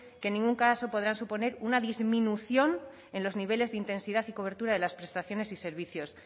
que en ningún caso podrá suponer una disminución en los niveles de intensidad y cobertura de las prestaciones y servicios